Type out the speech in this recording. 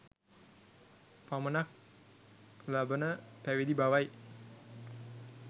පමණක් ලබන පැවිදි බවයි.